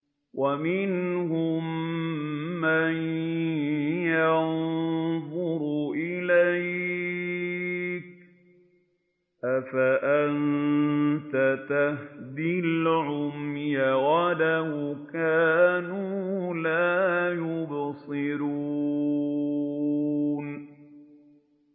وَمِنْهُم مَّن يَنظُرُ إِلَيْكَ ۚ أَفَأَنتَ تَهْدِي الْعُمْيَ وَلَوْ كَانُوا لَا يُبْصِرُونَ